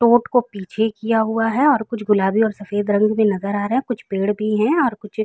टूट को पीछे किया हुआ है और कुछ गुलाबी और सफेद रंग मे नजर आ रहे हैं | कुछ पेड़ भी है और कुछ --